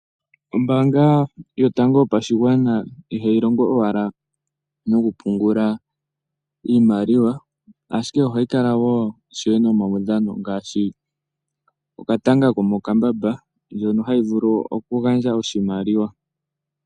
Ombaanga yotango yopashigwana ihayi longo owala nokupungula iimaliwa ashike ohayi kala wo ishewe nomaudhano ngaashi okatanga komokambamba, ndjono hayi vulu okugandja oshimaliwa.